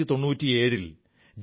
90 കളിലെ ദശകത്തിലെ പ്രശ്നമായിരുന്നു